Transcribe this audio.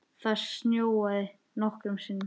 Það snjóaði nokkrum sinnum.